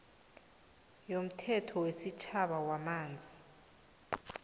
yomthetho wesitjhaba wamanzi